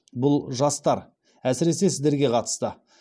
бұл жастар әсіресе сіздерге қатысты